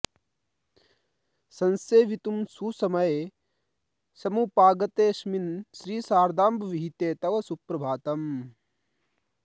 संसेवितुं सुसमये समुपागतेऽस्मिन् श्री शारदाम्ब विहिते तव सुप्रभातम्